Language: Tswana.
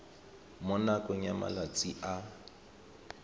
mo nakong ya malatsi a